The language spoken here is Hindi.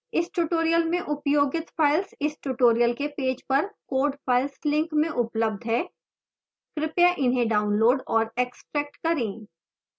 इस tutorial में उपयोगित files इस tutorial के पेज पर code files link में उपलब्ध हैं कृपया इन्हें डाउनलोड और एक्स्ट्रैक्ट करें